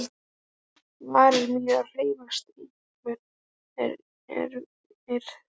Varir mínar hreyfast, einhver hreyfir þær.